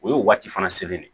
O ye o waati fana selen de